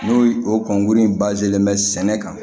N'o o kɔnkurun len bɛ sɛnɛ kan